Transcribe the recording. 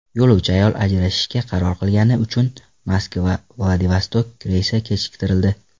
Yo‘lovchi ayol ajrashishga qaror qilgani uchun MoskvaVladivostok reysi kechiktirildi.